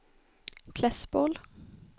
Klässbol